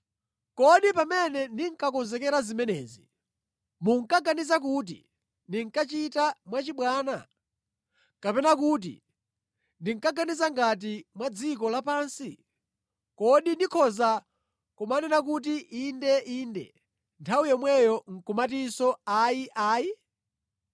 Kodi pamene ndinkakonzekera zimenezi, mukuganiza kuti ndinkachita mwachibwana? Kapena kuti ndinkaganiza ngati mwa dziko lapansi; kuti ndikhoza kumanena kuti, “Inde, Inde,” nthawi yomweyo nʼkumatinso “Ayi, Ayi?”